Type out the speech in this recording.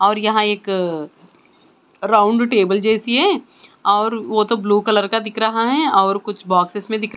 और यहाँ एक अ राउंड टेबल जैसी है और वो तो ब्लू कलर का दिख रहा है और कुछ बॉक्सेस में दिख--